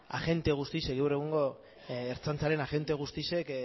agente guztiak gaur egungo ertzaintzaren agente guztiak